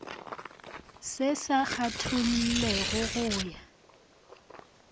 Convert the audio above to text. se sa kgethollego go ya